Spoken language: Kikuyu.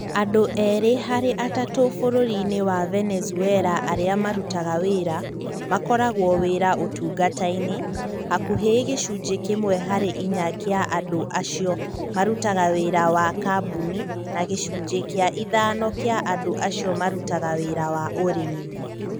Andũ erĩ harĩ atatũ bũrũri-inĩ wa Venezuela arĩa marutaga wĩra, makoragwo wira ũtungata-inĩ, hakuhĩ gĩcunjĩ kĩmwe harĩ inya gĩa andũ acio marutaga wĩra wa kambuni, na gĩcunjĩ gĩa ithano kĩa andũ acio marutaga wĩra wa ũrĩmi.